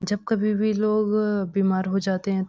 जब कभी भी लोग बीमार हो जाते हैं तो --